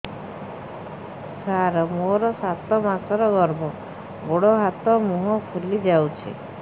ସାର ମୋର ସାତ ମାସର ଗର୍ଭ ଗୋଡ଼ ହାତ ମୁହଁ ଫୁଲି ଯାଉଛି